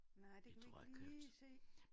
Nej det kan man ikke lige se